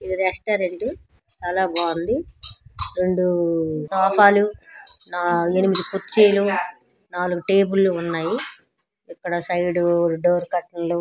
ఇది రెస్టారెంట్ చాలా బాగుంది. ఆ రెండు సోఫాలు ఆ ఎనిమిది కుర్చీలు నాలుగు టేబుల్ లు ఉన్నాయి. ఇక్కడ సైడు డోర్ కాటన్ లు --